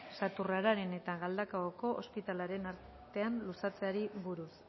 sarraturen eta galdakaoko ospitalearen artean luzatzeari buruz